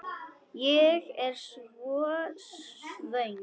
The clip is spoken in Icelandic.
Ég er svo svöng.